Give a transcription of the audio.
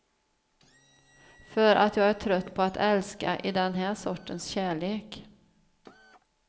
För att jag är trött på att älska i den här sortens kärlek.